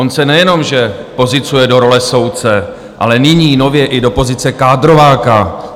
On se nejenže pozicuje do role soudce, ale nyní nově i do pozice kádrováka.